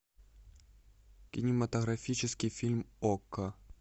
кинематографический фильм окко